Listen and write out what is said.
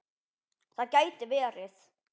Það gæti verið.